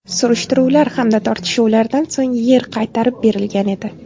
Surishtiruvlar hamda tortishuvlardan so‘ng yer qaytarib berilgan edi.